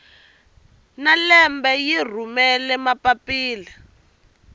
na lembe yi rhumela mapapila